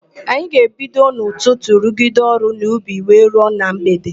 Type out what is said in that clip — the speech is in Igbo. Anyị ga-ebido n'ụtụtụ rugide ọrụ n'ubi wee ruo na mgbede.